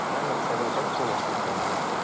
Mənim məqsədim isə Tibb Universitetində oxumaqdır.